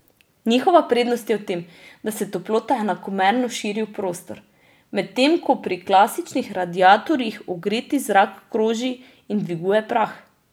Njihova prednost je v tem, da se toplota enakomerno širi v prostor, medtem ko pri klasičnih radiatorjih ogreti zrak kroži in dviguje prah.